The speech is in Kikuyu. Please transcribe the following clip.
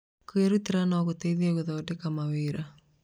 Kwĩrutĩra no gũteithie gũthondeka mawĩra.